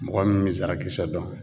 Mɔgɔ min be zarakisɛ dɔn